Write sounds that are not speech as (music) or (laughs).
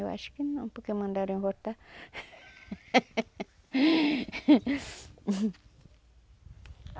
Eu acho que não, porque mandaram eu voltar. (laughs)